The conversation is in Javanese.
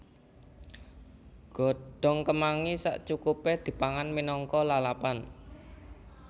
Godhong kemangi sacukupé dipangan minangka lalapan